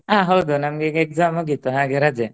ಆ ಹೌದು ನಮ್ಗೆ ಈಗ exam ಮುಗೀತು ಹಾಗೇ ರಜೆ.